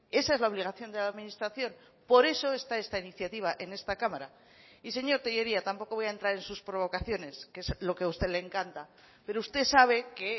esa es la obligación de la administración por eso está esta iniciativa en esta cámara y señor tellería tampoco voy a entrar en sus provocaciones que es lo que a usted le encanta pero usted sabe que